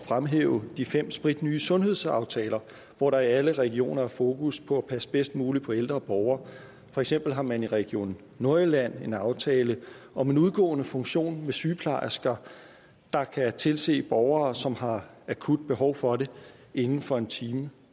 fremhæve de fem spritnye sundhedsaftaler hvor der i alle regioner er fokus på at passe bedst muligt på ældre borgere for eksempel har man i region nordjylland en aftale om en udgående funktion med sygeplejersker der kan tilse borgere som har akut behov for det inden for en time